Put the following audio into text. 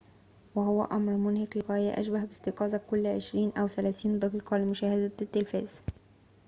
وهو أمر منهك للغاية أشبه باستيقاظك كل عشرين أو ثلاثين دقيقة لمشاهدة التلفاز